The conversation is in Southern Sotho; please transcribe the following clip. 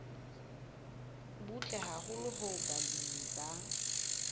butle haholo hoo balemi ba